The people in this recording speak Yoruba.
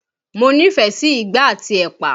Mo nífẹ̀ẹ́ sí ìgbá àti ẹ̀pà